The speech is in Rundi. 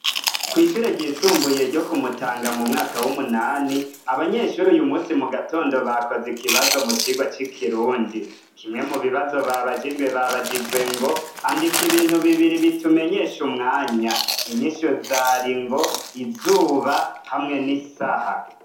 Kw'ishure ryisumbuye ryo ku Mutanga mu mwaka w'umunani abanyeshure uyu munsi mu gatondo bakoze ikibazo mu kigwa c'ikirundi. Kimwe mu bibazo babajijwe babajijwe ngo andika ibintu bibiri bitumenyesha umwanya inyishu zari ngo : izuba hamwe n'isaha.